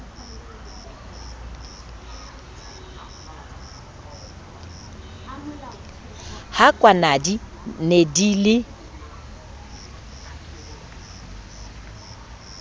ha kwanadi ne di le